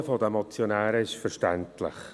Das Anliegen der Motionäre ist verständlich.